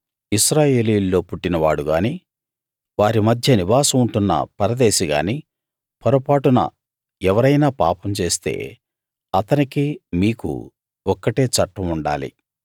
ఇశ్రాయేలీయుల్లో పుట్టినవాడు గాని వారి మధ్య నివాసం ఉంటున్న పరదేశి గాని పొరపాటున ఎవరైనా పాపం చేస్తే అతనికీ మీకూ ఒక్కటే చట్టం ఉండాలి